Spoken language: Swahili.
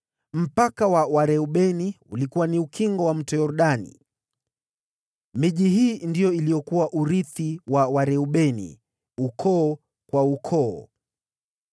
Mpaka wa Wareubeni ulikuwa ni ukingo wa Mto Yordani. Miji hii na vijiji vyake ndiyo iliyokuwa urithi wa Wareubeni ukoo kwa ukoo.